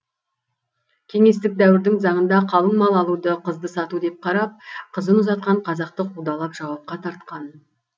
кеңестік дәуірдің заңында қалың мал алуды қызды сату деп қарап қызын ұзатқан қазақты қудалап жауапқа тартқан